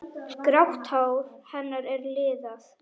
Grátt hár hennar er liðað.